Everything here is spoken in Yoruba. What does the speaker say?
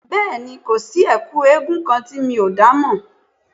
Bẹ́ẹ̀ni, kò sí Ẹ̀kú eégún kan tí mi ò dá mọ̀